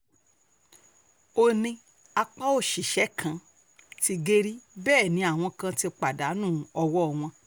ó ní apá òṣìṣẹ́ kan ti gé rí bẹ́ẹ̀ ni àwọn kan ti pàdánù owó wọn